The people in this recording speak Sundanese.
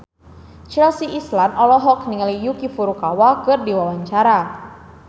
Chelsea Islan olohok ningali Yuki Furukawa keur diwawancara